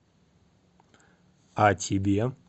а тебе